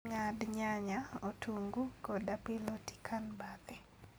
Ng'ad nyanya, otungu kod apilo tikan bathe